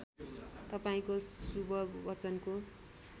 तपाईँको शुभ वचनको